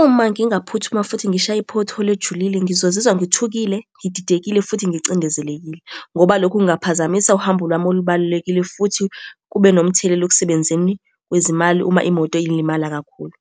Uma ngingaphuthuma futhi ngishaye i-pothole ejulile ngizozizwa ngithukile, ngididekile, futhi ngicindezelekile, ngoba lokho kungaphazamisa uhambo lwami olubalulekile, futhi kube nomthelela ekusebenzeni kwezimali uma imoto ilimala kakhulu.